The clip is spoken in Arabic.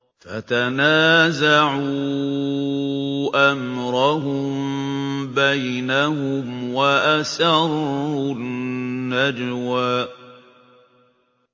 فَتَنَازَعُوا أَمْرَهُم بَيْنَهُمْ وَأَسَرُّوا النَّجْوَىٰ